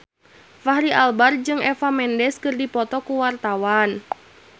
Fachri Albar jeung Eva Mendes keur dipoto ku wartawan